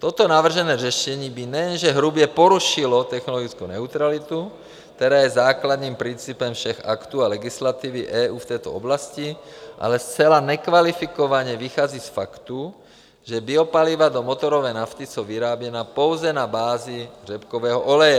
Toto navržené řešení by nejenže hrubě porušilo technologickou neutralitu, která je základním principem všech aktů a legislativy EU v této oblasti, ale zcela nekvalifikovaně vychází z faktu, že biopaliva do motorové nafty jsou vyráběna pouze na bázi řepkového oleje.